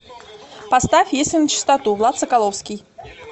поставь если начистоту влад соколовский